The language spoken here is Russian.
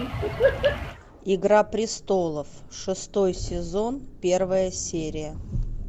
игра престолов шестой сезон первая серия